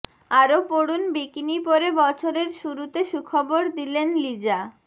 আরও পড়ুন বিকিনি পরে বছরের শুরুতে সুখবর দিলেন লিজা